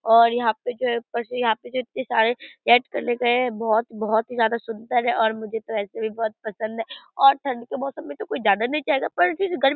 और यहाँ पे जो है ऊपर से यहाँ पे जो इतने सारे बहुत बहुत ही ज्यादा सुंदर है और मुझे तो ऐसे भी बहुत पसंद है और ठंड के मौसम में तो कोई जाना नहीं चाहेगा पर फिर गर्मी --